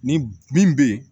Ni min bɛ ye